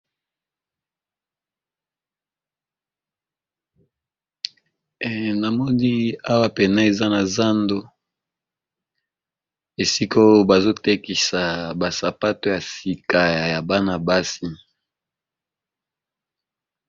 Na moni awa pene eza na zando, esika oyo bazotekisa basapato ya sika ya bana-basi.